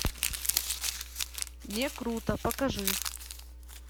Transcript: не круто покажи